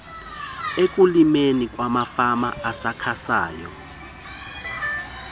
ekulimeni kwamafama asakhasayo